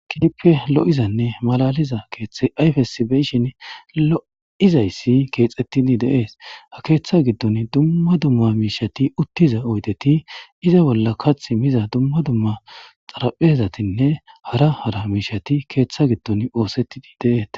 Keehipe lo7izanne malaaliza keeththay ayfessi be7ishini lo7izayssi keexeththidi de7ees; ha keeththaa giddoni dumma dumma miishshethi uththida oydethi iza bollaka cimiza dumma dumma xarapheezathinne hara hara miishshethi keeththa giddoni ooseththidi de7eethes.